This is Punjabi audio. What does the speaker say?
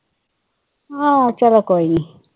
ਆਹ ਚਲੋ ਕੋਈ ਨਹੀਂ।